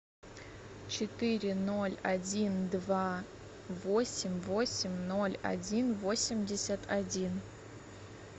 четыре ноль один два восемь восемь ноль один восемьдесят один